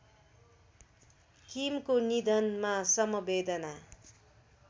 किमको निधनमा समवेदना